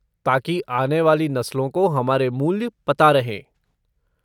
ताकि आने वाली नस्लों को हमारे मूल्य पता रहें।